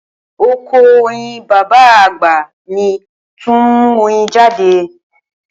Oko oyin baba agba mi tun nmu oyin jade